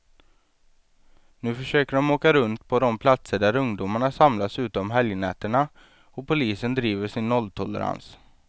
Nu försöker de åka runt på de platser där ungdomarna samlas ute om helgnätterna, och polisen driver sin nolltolerans.